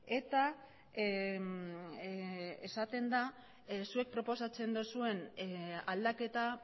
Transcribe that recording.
eta esaten da zuek proposatzen duzuen aldaketa